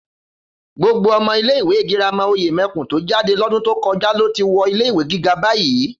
Gbogbo ọmọ ilé ìwé girama Òyèmẹkùn tó jáde lọ́dún tó kọjá lo ti wọ ilé ìwé gíga bayii